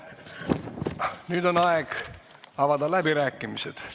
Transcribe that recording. Nüüd on aeg avada läbirääkimised.